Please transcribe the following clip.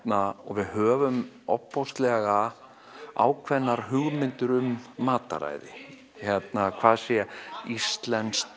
við höfum ákveðnar hugmyndir um mataræði hvað sé íslenskt